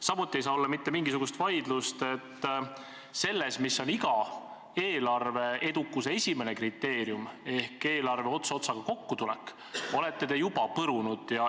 Samuti ei saa olla mitte mingisugust vaidlust, et selles, mis on iga eelarve edukuse põhikriteerium – see on eelarve ots otsaga kokkutulek –, te olete juba põrunud.